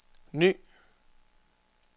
ny